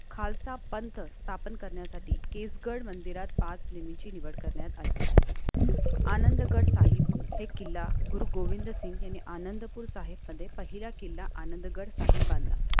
खालसा पंथ स्थापन करण्यासाठी किसगड मंदिरात पाच लिमिटची निवड करण्यात आली. आनंदगड साहिब हे किल्ला गुरु गोविंद सिंह यांनी आनंदपूरचे आहेतमध्ये पहिला किल्ला आनंदगड साहि बांधा.